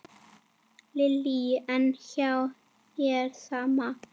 Lillý: En hjá þér, sama?